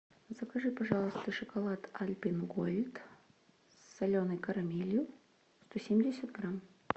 закажи пожалуйста шоколад альпен гольд с соленой карамелью сто семьдесят грамм